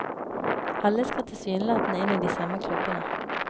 Alle skal tilsynelatende inn i de samme klubbene.